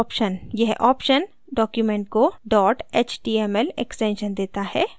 यह option document को dot html extension देता है